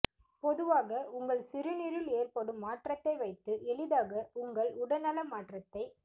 பொதுவாக உங்கள் சிறுநீரில் ஏற்படும் மாற்றத்தை வைத்து எளிதாக உங்கள் உடல்நல மாற்றத்தை